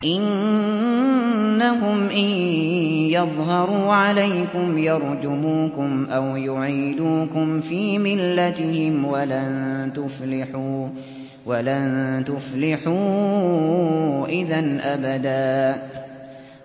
إِنَّهُمْ إِن يَظْهَرُوا عَلَيْكُمْ يَرْجُمُوكُمْ أَوْ يُعِيدُوكُمْ فِي مِلَّتِهِمْ وَلَن تُفْلِحُوا إِذًا أَبَدًا